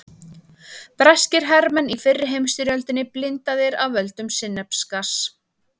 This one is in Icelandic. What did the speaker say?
Breskir hermenn í fyrri heimsstyrjöldinni blindaðir af völdum sinnepsgass.